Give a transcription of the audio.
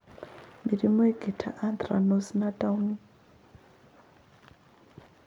Mĩrimũ ĩngĩ ta anthracnose na Downey